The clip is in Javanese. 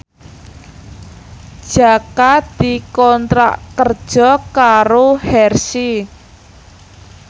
Jaka dikontrak kerja karo Hershey